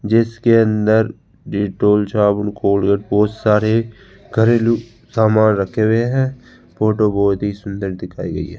जिसके अंदर डेटॉल साबुन कोलगेट बहुत सारे घरेलू सामान रखे हुए हैं फोटो बहुत ही सुंदर दिखाई गई है।